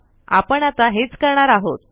आपण आता हेच करणार आहोत